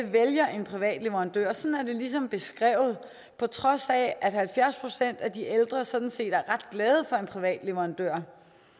vælger en privat leverandør sådan er det ligesom beskrevet på trods af at halvfjerds procent af de ældre sådan set er ret glade for en privat leverandør